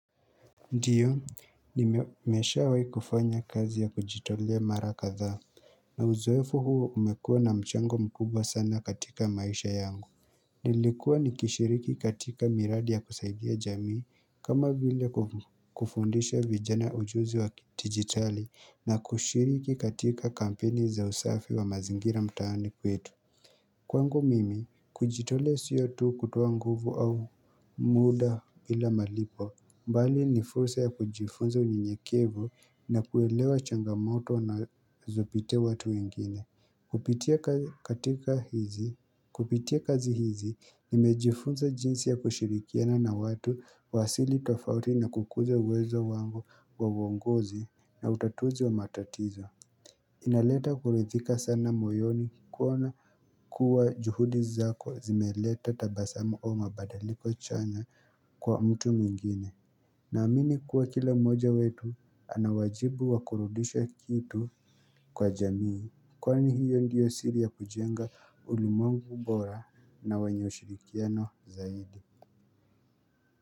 Ndiyo nimeshawahi kufanya kazi ya kujitolea mara kadhaa na uzoefu huo umekua na mchango mkubwa sana katika maisha yangu Nilikuwa nikishiriki katika miradi ya kusaidia jamii kama vile kufundisha vijana ujuzi wa digitali na kushiriki katika kampeni za usafi wa mazingira mtaani kwetu Kwangu mimi, kujitolea sio tu kutoa nguvu au muda bila malipo bali ni fursa ya kujifunza unyenyekevu na kuelewa changamoto nazopitia watu wengine Kupitia kazi hizi, nimejifunza jinsi ya kushirikiana na watu wa asili tofauti na kukuza uwezo wangu wa uongozi na utatuzi wa matatizo inaleta kuridhika sana moyoni kuona kuwa juhudi zako zimeleta tabasamu au mabadiliko chanya kwa mtu mwingine Naamini kuwa kila moja wetu anawajibu wakurudisha kitu kwa jamii Kwani hiyo ndiyo siri ya kujenga ulimwengu bora na wenye ushirikiano zaidi.